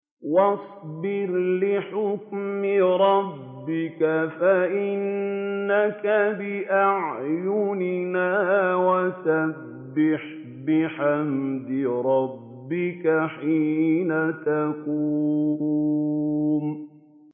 وَاصْبِرْ لِحُكْمِ رَبِّكَ فَإِنَّكَ بِأَعْيُنِنَا ۖ وَسَبِّحْ بِحَمْدِ رَبِّكَ حِينَ تَقُومُ